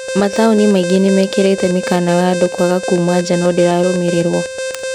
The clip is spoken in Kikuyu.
Mataũni maingĩ nĩmekĩrĩte mĩkana wa andũ kwaga kuuma nja no ndĩrarũmĩrĩrwo.